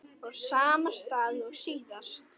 Á sama stað og síðast.